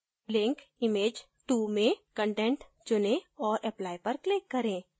link image to में content चुनें और apply पर click करें